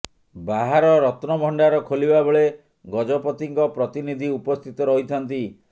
ବାହାର ରତ୍ନଭଣ୍ଡାର ଖୋଲିବା ବେଳେ ଗଜପତିଙ୍କ ପ୍ରତିନିଧି ଉପସ୍ଥିତ ରହିଥାନ୍ତି